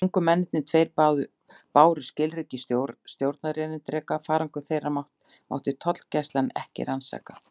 Ungu mennirnir tveir báru skilríki stjórnarerindreka: farangur þeirra mátti tollgæslan ekki rannsaka.